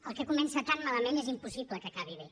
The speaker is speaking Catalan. el que comença tan malament és impossible que acabi bé